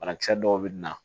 Banakisɛ dɔw bɛ na